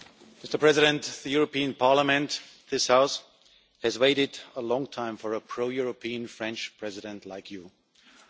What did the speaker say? Mr President, the European Parliament, this House, has waited a long time for a pro European French President like Mr Macron.